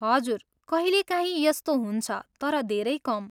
हजुर, कहिलेकाहीँ यस्तो हुन्छ, तर धेरै कम।